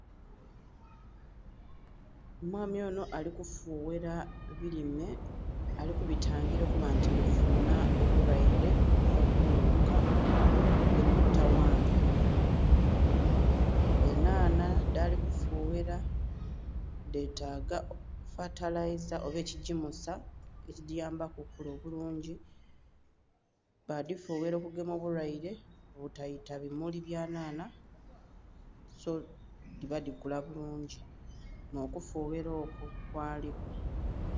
Omwami onho alikufughera bilime ali kubita ngila okuba nti bifunha omulweire okuva kubighuka ebibi taghanhya, enhanha dhali kufughera dhetaga fatalaza oba ekigimusa ekigiyambaku okukula obulungi baifughera okugema omulweire buteita bimuli bya nhanha so dhiba dhikula bulungi nho kufugha okwo kwaliku.